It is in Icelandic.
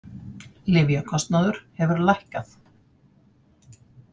Lyfjakostnaður hefur lækkað